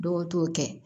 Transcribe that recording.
Dɔw t'o kɛ